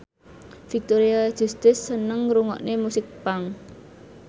Victoria Justice seneng ngrungokne musik punk